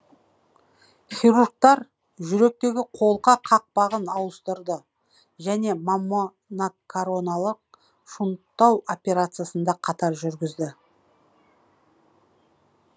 хирургтар жүректегі қолқа қақпағын ауыстырды және маммонакаронарлық шунттау операциясын да қатар жүргізді